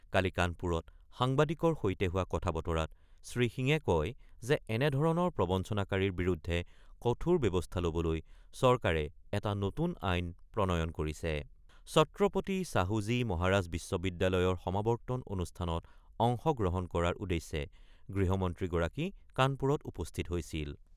কালি কানপুৰত সাংবাদিকৰ সৈতে হোৱা কথা-বতৰাত শ্ৰীসিঙে কয় যে এনেধৰণৰ প্ৰবঞ্চনাকাৰীৰ বিৰুদ্ধে কঠোৰ ব্যৱস্থা ল'বলৈ চৰকাৰে এটা নতুন আইন প্ৰণয়ন কৰিছে৷ ছত্ৰপতি ছাহু-জী মহাৰাজ বিশ্ববিদ্যালয়ৰ সমাৱৰ্তন অনুষ্ঠানত অংশগ্ৰহণ কৰাৰ উদ্দেশ্যে গৃহমন্ত্ৰীগৰাকী কানপুৰত উপস্থিত হৈছিল।